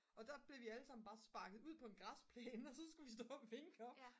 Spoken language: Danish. og der blev vi allesammen bare sparket ud på en græsplæne og så skulle vi stå og vinke op